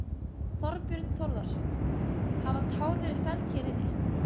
Þorbjörn Þórðarson: Hafa tár verið felld hér inni?